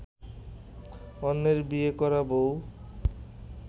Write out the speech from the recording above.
অন্যের ‘বিয়ে করা’ বউ